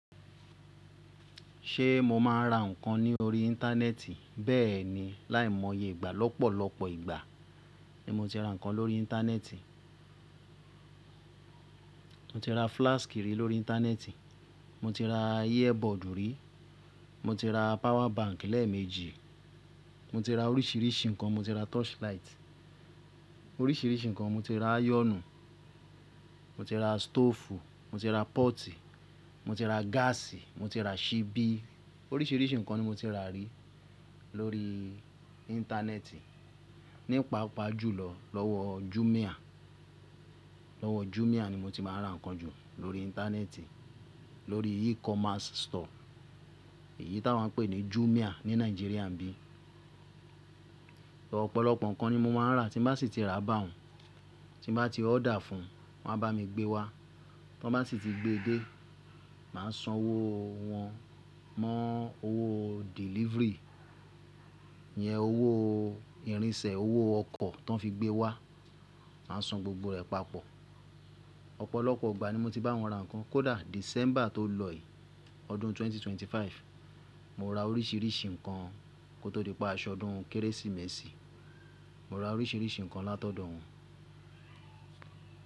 Ṣe mo máa ń ra nǹkan ní orí Íńtánẹ́ẹ̀tì? Bẹ́ẹ̀ni, láìmọye ìgbà, lọ́pọ̀lọpọ̀ ìgbà ni mo ti ra nǹkan lórí Íńtánẹ́ẹ̀tì. Mo ti ra flask rí lórí Íńtánẹ́ẹ̀tì, mo ti ra earbud rí, mo ti ra power bank lẹ́ẹ̀méjì, mo ti ra oríṣiríṣi nǹkan, mo ti ra torchlight, oríṣiríṣi nǹkan, mo ti ra ayọ̀nù, mo ti ra stoofu, mo ti ra pọ́ọ́tì, mo ti ra gáàsì, mo ti ra ṣíbí. Oríṣiríṣi nǹkan ni mo ti rà rí lórí Íńtánẹ́ẹ̀tì, nípa pàájù lọ, lọ́wọ́ Jumia. Lọ́wọ́ Jumia ni mo ti máa ń ra nǹkan jù lórí Íńtánẹ́ẹ̀tì, lórí e-commerce store èyí tí a máa ń pè ní Jumia ní Nàìjíríà bí i. Ọ̀pọ̀lọpọ̀ nǹkan ni mo máa ń rà tí bá sì ti rà bá òun, tí bá ti order fún, wọ́n á bá mi gbé wá. Tí wọ́n bá sì ti gbé dé, màá san owó wọ́n, mọ́ owó delivery, ìyẹn owó ìrìnsẹ̀, owó ọkọ̀ tó ń fi gbé wá, màá san gbogbo rẹ̀ papọ̀. Ọ̀pọ̀lọpọ̀ ìgbà ni mo ti bá wọn ra nǹkan, kódà December tó lọ yìí ọdún ẹgbẹ̀rún méjì ó lé ẹ́ẹ́dọ́gbọ̀n, mo ra oríṣiríṣi nǹkan kó tó dé pé aṣọ ọdún Kérésìmesì, mo ra oríṣiríṣi nǹkan látọ̀dọ̀ wọn.